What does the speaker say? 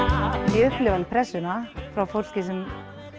ég upplifi alveg pressu frá fólki sem